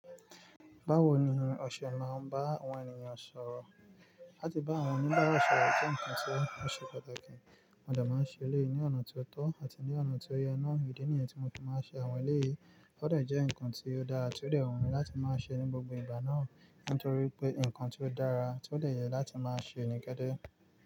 Báwo ni o ṣe máa ń bá àwọn ènìyàn sọ̀rọ̀. Láti bá àwọn oníbàárà sọ̀rọ̀ jẹ́ ǹkan tí ó ṣe pàtàkì, mo de máa ń ṣe éleyii ní ọ̀nà ti o tọ́ àti ní ọ̀nà ti o yẹ náa. Ìdí nìyẹn tí mo tún máa ń ṣe àwọn eleyiiìí, ó de jẹ́ ǹkan tí ó dára ti ó rẹwà láti máa ṣe ní gbogbo ìgba náà, nítorí pé ǹkan tí ó dára tí ó dè yẹ láti máa ṣe ní deede.